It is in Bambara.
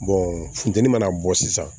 funteni mana bɔ sisan